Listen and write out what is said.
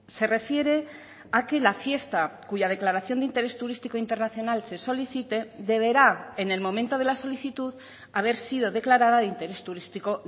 se refiere a que la fiesta cuya declaración de interés turístico internacional se solicite deberá en el momento de la solicitud haber sido declarada de interés turístico